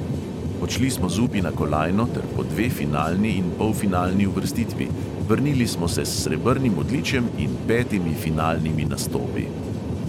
Odšli smo z upi na kolajno ter po dve finalni in polfinalni uvrstitvi, vrnili smo se s srebrnim odličjem in petimi finalnimi nastopi.